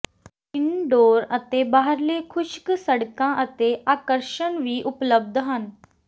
indoor ਅਤੇ ਬਾਹਰਲੇ ਖੁਸ਼ਕ ਸੜਕਾਂ ਅਤੇ ਆਕਰਸ਼ਣ ਵੀ ਉਪਲਬਧ ਹਨ